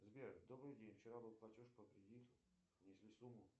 сбер добрый день вчера был платеж по кредиту внесли сумму